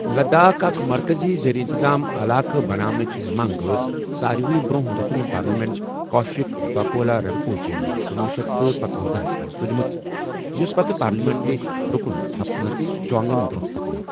لداخ اكھ مركزی زیر انتظام علاقہٕ بناونٕچہِ منگ ٲس سارِوٕیہ برونٛہہ رُكُنہِ پارلیمینٹ كوشك بقولہٕ رِن٘پوچین کنوُہ شیتھ تہٕ پنژۄنزاہس منز تُجِمٕژ , یوس پَتہٕ پارلِیمینٹی رُكُن تھُپ سن چوانگن برونٛہہ پكنٲو ۔